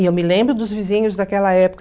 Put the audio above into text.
E eu me lembro dos vizinhos daquela época.